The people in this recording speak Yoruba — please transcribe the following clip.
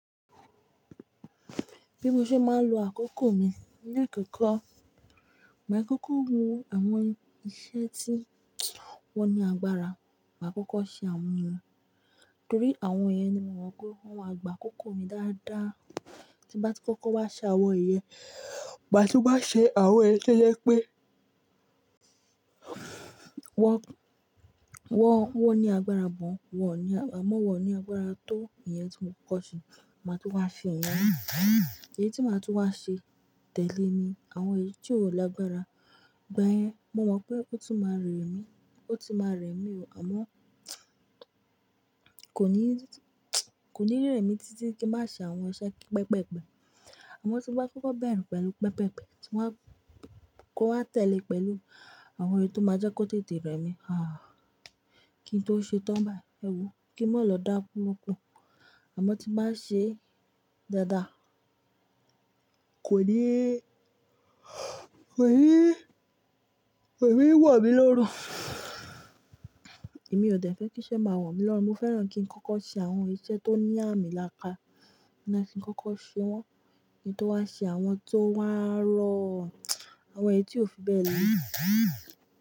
Bí mo ṣe máa ń lo àkókò mi ní àkókò, màá kókó hun àwọn iṣẹ́ tí wọ́n ní agbára, màá kókó ṣe àwọn wọn, torí àwọn yẹn ni mo mọ pé wọ́n máa gbà á kókó mi dáadáa. Ti bà tí kókó wá ṣe àwọn iyẹn, bà tí ó bá ṣe àwọn iyẹn lẹ́lẹ́ pé wọ́n, wọ́n, wọ́n ní agbára gọ̀n, wọ́n ò ní agba-- àmọ́ wọ́n ò ní agbára tó iye tí mo kókó ṣe, màá tún wá fi wọn mú. Èyí tí màá tún wá ṣe tẹ́lẹ̀ ni àwọn èyí tí ò lágbára, gba yẹn, mo mọ pé ó tún máa rẹ̀ mí, ó tún máa rẹ̀ mí o, àmọ́ kò ní, kò ní rẹ́ mi títí kí n má ṣe àwọn iṣẹ́ pẹpẹ́pẹ. Àmọ́ tí bá kókó bẹ̀rù pẹ̀lú pẹpẹ́pẹ, tí wọ́n bá kọ́ wá tẹ̀lé pẹ̀lú àwọn èyí tó máa jẹ́ kó tètè rẹ́ mi, àáàh, kí n tó ṣe tán bá ẹwu, kí n má lọ dáku lóko. Àmọ́ tí bá ṣe dáadáa kò ní, kò ní, kò ní wo mí lórun. Èmi ò dẹ̀ fẹ́ kí iṣẹ́ máa wọ̀n mí lọ́run, mo fẹ́ràn kí n kókó ṣe àwọn iṣẹ́ tó ní àmì láka, ní kí n kókó ṣe wọ́n, kí n tó wá ṣe àwọn tó wá rọ àwọn èyí tí ò fi bẹ́ẹ̀ lẹ́